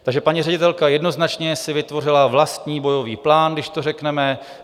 Takže paní ředitelka jednoznačně si vytvořila vlastní bojový plán, když to řekneme.